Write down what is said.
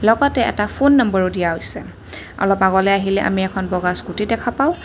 লগতে এটা ফোন নম্বৰো দিয়া হৈছে অলপ আগলৈ আহিলে আমি এখন বগা স্কুটি দেখা পাওঁ।